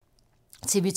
TV 2